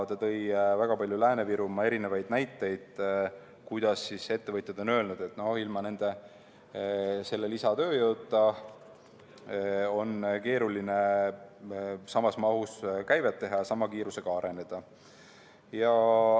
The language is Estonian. Ta tõi väga palju näiteid Lääne-Virumaa kohta, kus ettevõtjad on öelnud, et ilma selle lisatööjõuta on keeruline samas mahus käivet teha ja sama kiirusega areneda.